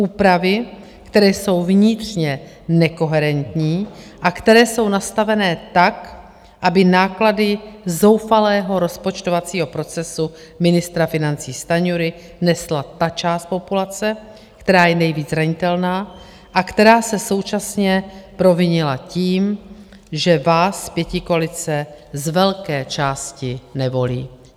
Úpravy, které jsou vnitřně nekoherentní a které jsou nastavené tak, aby náklady zoufalého rozpočtovacího procesu ministra financí Stanjury nesla ta část populace, která je nejvíc zranitelná a která se současně provinila tím, že vás, pětikoalice, z velké části nevolí.